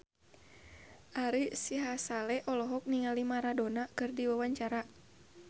Ari Sihasale olohok ningali Maradona keur diwawancara